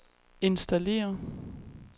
installere